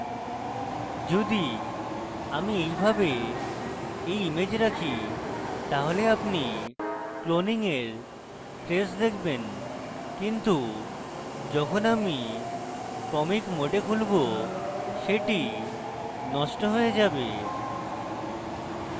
যদি আমি এইভাবে এই image রাখি তাহলে আপনি cloning এর traces দেখবেন কিন্তু যখন আমি comic mode খুলবো সেটি নষ্ট হয়ে যাবে